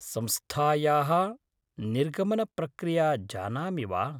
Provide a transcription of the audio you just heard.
संस्थायाः निर्गमनप्रक्रिया जानामि वा?